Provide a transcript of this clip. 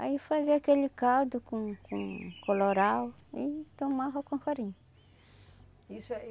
Aí fazia aquele caldo com com colorau e tomava com farinha. Isso